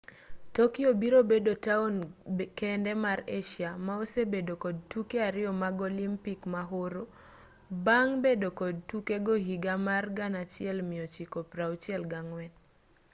tokyo biro bedo taon kende mar asia ma osebedo kod tuke ariyo mag olimpik mahoro bang' bedo kod tukego higa mar 1964